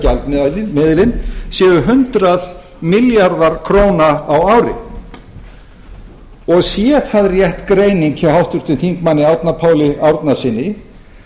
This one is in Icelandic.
gjaldmiðilinn séu hundrað milljarðar ári ári sé það rétt greining hjá háttvirtum þingmanni árna páli árnasyni